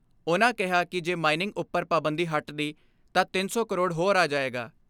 ਉਨ੍ਹਾਂ ਕਿਹਾ ਕਿ ਜੇ ਮਾਈਨਿੰਗ ਉਪਰ ਪਾਬੰਦੀ ਹਟਦੀ ਤਾਂ ਤਿੰਨ ਸੌ ਕਰੋੜ ਹੋਰ ਆ ਜਾਏਗਾ।